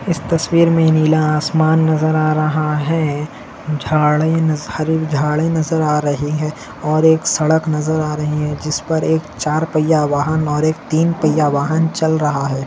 इस तस्वीर मे नीला आसमान नजर आ रहा है झाडे नजहर झाडे नजर आ रही है और इक सड़क नजर आ रही है जिस पर एक चार पय्या वाहन और एक तीन पय्या वाहन चल रहा है।